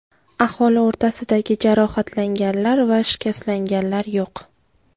Aholi o‘rtasida jarohatlanganlar va shikastlanganlar yo‘q.